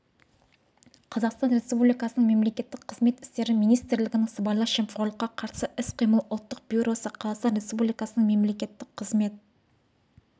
қазақстан республикасының мемлекеттік қызмет істері министрлігінің сыбайлас жемқорлыққа қарсы іс-қимыл ұлттық бюросы қазақстан республикасының мемлекеттік қызмет